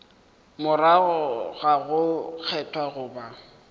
morago ga go kgethwa goba